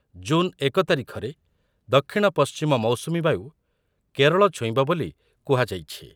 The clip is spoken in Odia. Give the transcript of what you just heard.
ଜୁନ୍ ଏକ ତାରିଖରେ ଦକ୍ଷିଣ ପଶ୍ଚିମ ମୌସୁମୀବାୟୁ କେରଳ ଛୁଇଁବ ବୋଲି କୁହାଯାଇଛି ।